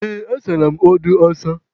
Ee, asara m odo a asa.